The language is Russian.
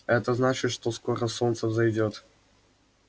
это значит что скоро солнце взойдёт